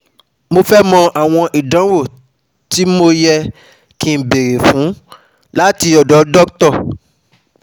Mo fé mọ̀ àwọn ìdánwò ti mo yẹ̀ kí n béèrè fún láti ọdọ Dr